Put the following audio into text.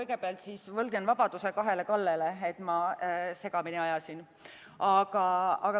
Kõigepealt ma võlgnen vabanduse kahele Kallele, et ma nad segamini ajasin.